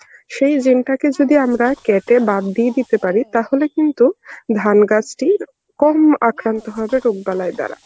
সেই gene টাকে যদি আমরা কেটে বাদ দিয়ে দিতে পারি তাহলে কিন্তু ধান গাছটির কম আক্রান্ত হবে রোগ বালাই দ্বারা.